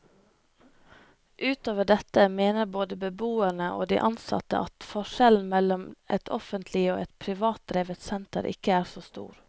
Utover dette mener både beboerne og de ansatte at forskjellen mellom et offentlig og et privatdrevet senter ikke er så stor.